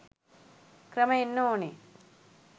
ක්‍රම එන්න ඕනේ